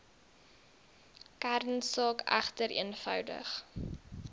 kernsaak egter eenvoudig